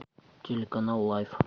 телеканал лайф